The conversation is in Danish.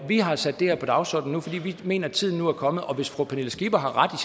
har sat det her på dagsordenen nu fordi vi mener at tiden nu er kommet og hvis fru pernille skipper har ret